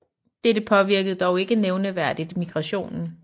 Dette påvirkede dog ikke nævneværdigt migrationen